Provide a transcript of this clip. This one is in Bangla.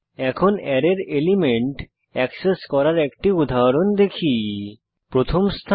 এখন অ্যারের এলিমেন্ট এক্সেস করার একটি উদাহরণ দেখি প্রথম স্থানে